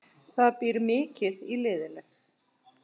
Það býr mikið í liðinu.